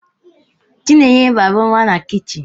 Chinenye raaru na kichin.